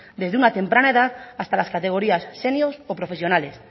desde una temprana edad hasta las categorías senior o profesionales